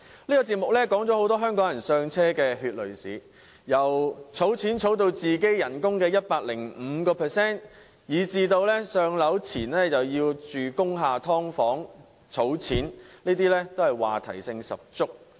這個節目提到很多香港人"上車"的血淚史，要儲起薪金的 105%、"上樓"前須在工廈"劏房"居住以節省金錢等，話題性十足。